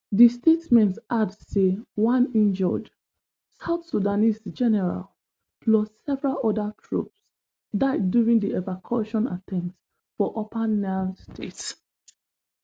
di statement add say one injured south sudanese general plus several oda troop die during di evacaution attempt for upper nile state